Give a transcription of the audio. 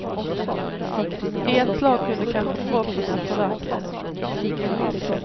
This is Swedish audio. I ett slag kunde kanske förhoppningar förverkligas.